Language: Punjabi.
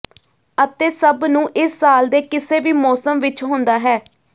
ਅਤੇ ਸਭ ਨੂੰ ਇਸ ਸਾਲ ਦੇ ਕਿਸੇ ਵੀ ਮੌਸਮ ਵਿਚ ਹੁੰਦਾ ਹੈ